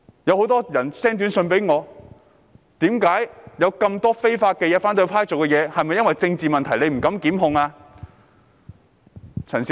很多人向我發短訊，指反對派做了很多違法的事，問到政府是否因政治問題而不敢檢控。